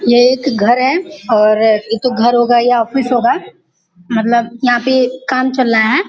ये एक घर है और ये तो घर होगा या ऑफिस होगा मतलब यहाँ पे काम चल रहा है।